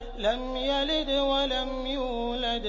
لَمْ يَلِدْ وَلَمْ يُولَدْ